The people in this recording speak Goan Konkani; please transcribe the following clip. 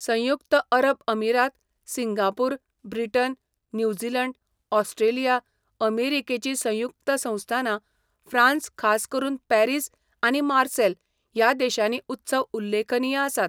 संयुक्त अरब अमीरात, सिंगापूर, ब्रिटन, न्यूझीलंड, ऑस्ट्रेलिया, अमेरिकेचीं संयुक्त संस्थानां, फ्रांस खास करून पॅरिस आनी मार्सेल ह्या देशांनी उत्सव उल्लेखनीय आसात.